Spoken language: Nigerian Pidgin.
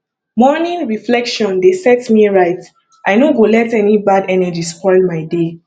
morning reflection dey set me right i no go let any bad energy spoil my day